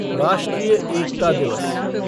राष्ट्रीय एकता दिवस